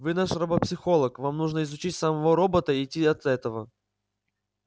вы наш робопсихолог вам нужно изучить самого робота и идти от этого